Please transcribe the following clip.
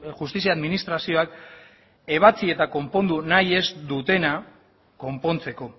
justizia administrazioak ebatsi eta konpondu nahi ez dutena konpontzeko